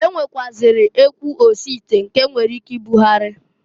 E nwekwụazịrị ekwu osite, nke e nwere ike ibugharị.